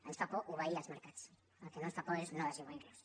ens fa por obeir els mercats el que no ens fa por és desobeir los